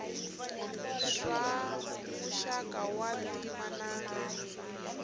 swa muxaka wa ntima na